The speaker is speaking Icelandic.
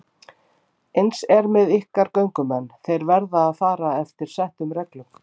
Eins er með ykkar göngumenn, þeir verða að fara eftir settum reglum.